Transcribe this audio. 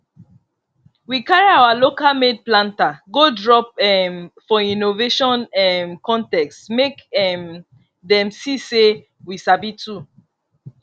we carry our localmade planter go drop um for innovation um contest make um dem see say we sabi too